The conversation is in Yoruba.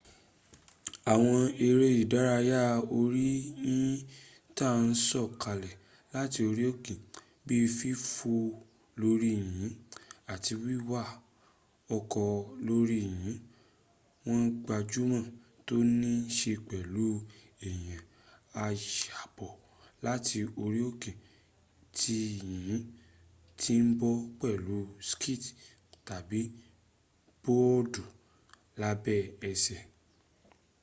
àwọn ẹrẹ́ ìdárayá orí yìnyìn ta án sọ̀kalẹ̀ láti orí òké bíi fífò lóri yìnyìn àti wíwa ọkọ̀ lóri yìnyìn wón gbajúmọ̀ tó ní ṣe pẹ̀lú pé eyàn a yọ́bọ̀ láti orí òkè tí yìnyìn ti bò pẹ̀lú skii tàbí bọ́ọ̀dì lábẹ́ ẹsẹ̀